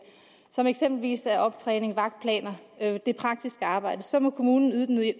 som eksempelvis optræning vagtplaner det praktiske arbejde så må kommunen yde den